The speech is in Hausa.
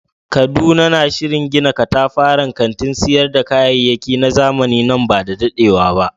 Kaduna na shirin gina katafaren kantin sayar da kayayyaki na zamani nan ba da dadewa ba.